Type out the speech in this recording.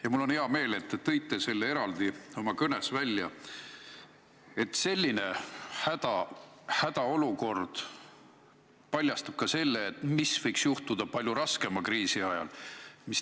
Ja mul on hea meel, et te tõite eraldi oma kõnes välja, et selline hädaolukord paljastab ka selle, mis võiks juhtuda palju raskema kriisi ajal.